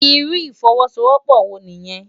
Irú ifòwòsówòpò wó niyèn?